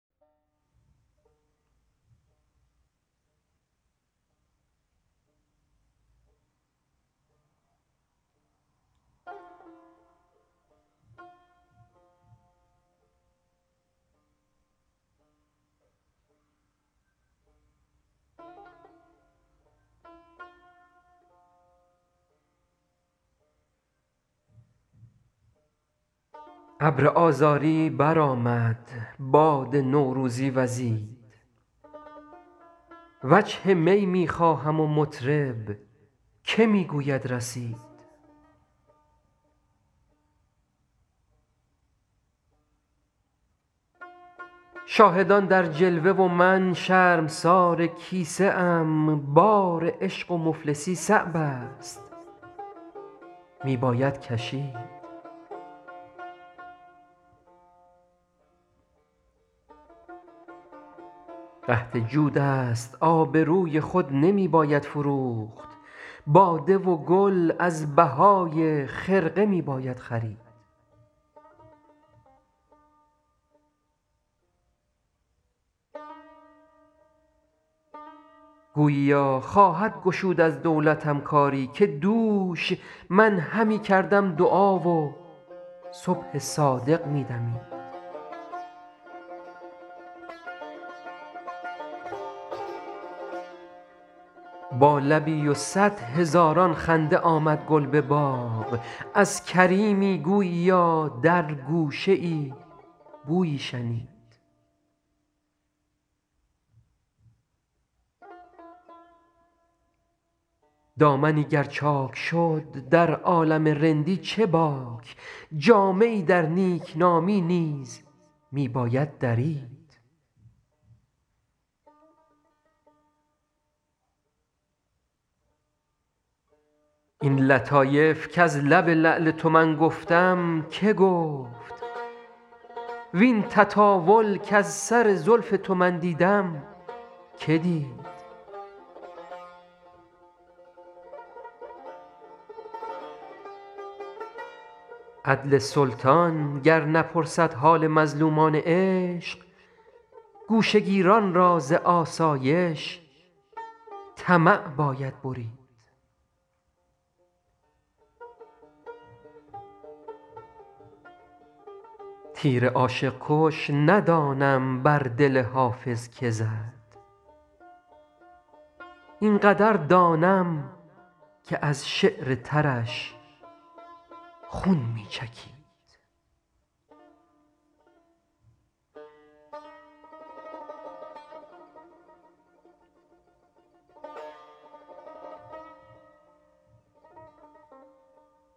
ابر آذاری برآمد باد نوروزی وزید وجه می می خواهم و مطرب که می گوید رسید شاهدان در جلوه و من شرمسار کیسه ام بار عشق و مفلسی صعب است می باید کشید قحط جود است آبروی خود نمی باید فروخت باده و گل از بهای خرقه می باید خرید گوییا خواهد گشود از دولتم کاری که دوش من همی کردم دعا و صبح صادق می دمید با لبی و صد هزاران خنده آمد گل به باغ از کریمی گوییا در گوشه ای بویی شنید دامنی گر چاک شد در عالم رندی چه باک جامه ای در نیکنامی نیز می باید درید این لطایف کز لب لعل تو من گفتم که گفت وین تطاول کز سر زلف تو من دیدم که دید عدل سلطان گر نپرسد حال مظلومان عشق گوشه گیران را ز آسایش طمع باید برید تیر عاشق کش ندانم بر دل حافظ که زد این قدر دانم که از شعر ترش خون می چکید